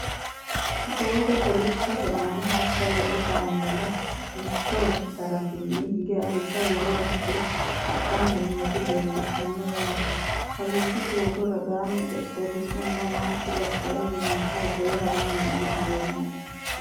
Doogo kolishshotte aanna hashsha lowo kaammeela mitto darattenni hige alibba worora higge hadhanni nootti leelittanno yaatte. Kawiddi doogo ragaanni xexerissunni manchu badheenni mancho hogowe haranni noohu leelanno